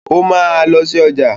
Ó máa lọ sí ọjà.